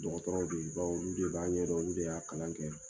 Dɔgɔtɔrɔw bɛ ye bawo olu de b'a ɲɛdɔn olu de y'a kalan kɛ.